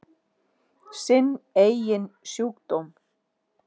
Sinn eigin sjúkdóm.